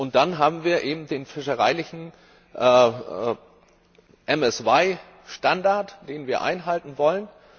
Und dann haben wir eben den fischereilichen MSY Standard, den wir einhalten wollen.